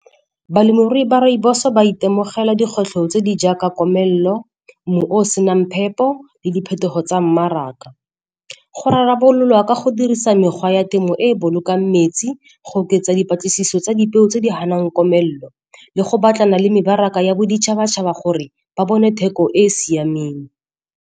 Balemirui ba rooibos-o ba itemogela dikgwetlho tse di jaaka komelelo, mmu o senang phepo le diphetogo tsa mmaraka. Go rarabololwa ka go dirisa mekgwa ya temo e e bolokang metsi, go oketsa dipatlisiso tsa dipeo tse di ganang komelelo le go batlana le mebaraka ya boditšhabatšhaba gore ba bone theko e e siameng.